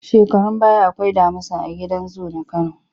Shekarun baya akwai damusa a gidan zu na Kano.